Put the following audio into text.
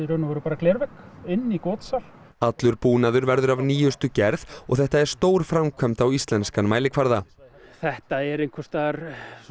glervegg inn í allur búnaður verður af nýjustu gerð og þetta er stór framkvæmd á íslenskan mælikvarða þetta er einhvers staðar